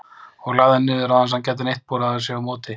og lagði hann niður, án þess að hann gæti neitt borið sig á móti.